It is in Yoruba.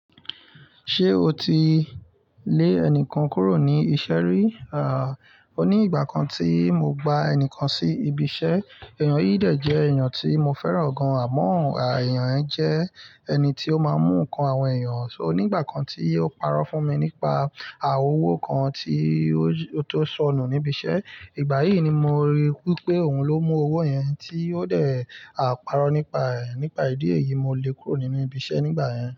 Ṣé o ti lé ẹnìkan kúrò ní iṣẹ́ rí? À, ó ní ìgbà kan tí mo gba ẹnìkan sí ibi iṣẹ́. Èèyàn yìí dẹ̀ jẹ èèyàn tí mo fẹ́ràn gan àmọ́ à ẹ̀yàn ẹ jẹ ẹni tí ó máa ń mú nǹkan àwọn èèyàn, so nígbà kan tí ó parọ́ fún mi nípa à owó kan tí ó tó sọnù níbi iṣẹ́. Ìgbà yíì ni mo rí wípé òun ló mú owó yẹn tí ó dẹ̀ à parọ́ nípa, nípa ìdí èyí mo lé e kúrò nínú ibi iṣẹ́ nígbà yẹn.